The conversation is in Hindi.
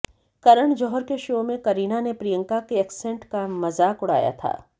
करण जौहर के शो में करीना ने प्रियंका के एक्सेंट का मजाक उड़ाया था